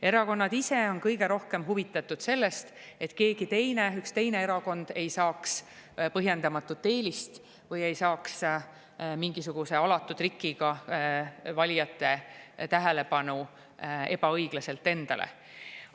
Erakonnad ise on kõige rohkem huvitatud sellest, et keegi teine, ükski teine erakond ei saaks põhjendamatut eelist või ei saaks mingisuguse alatu trikiga valijate tähelepanu ebaõiglaselt endale.